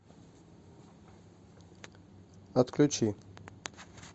отключи